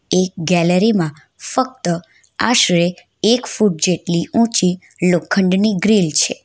એક ગેલેરીમાં ફક્ત આશરે એક ફૂટ જેટલી ઊંચી લોખંડની ગ્રીલ છે.